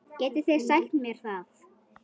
Getið þið sagt mér það?